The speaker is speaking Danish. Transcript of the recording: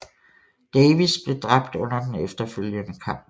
Davis blev dræbt under den efterfølgende kamp